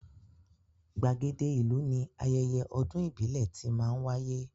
Gbàgede ìlú ni ayẹyẹ ọdún ìbílẹ̀ ti máá ń wáyé